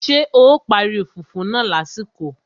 Ṣé o parí fùfú náà lásìkò?